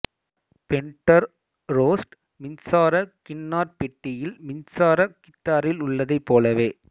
bender Rhodes மின்சார கின்னாரப்பெட்டியில் மின்சார கித்தாரில் உள்ளதைப் போலவே